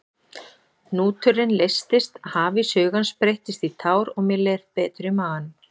Hnúturinn leystist, hafís hugans breyttist í tár og mér leið betur í maganum.